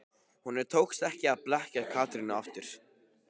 Honum tókst ekki að blekkja Katrínu aftur.